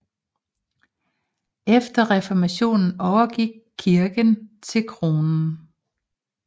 Efter reformationen overgik kirken til kronen